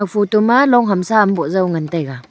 photo ma long hamsa am boh jaw ngan taiga.